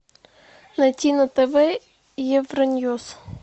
найти на тв евроньюс